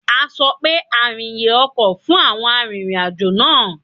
A sọ pé àrìnyè ọkọ̀ fún àwọn arìnrìn-àjò náà.